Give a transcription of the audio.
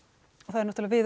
við